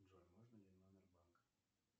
джой можно ли номер банка